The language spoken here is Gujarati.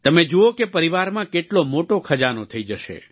તમે જુઓ કે પરિવારમાં કેટલો મોટો ખજાનો થઈ જશે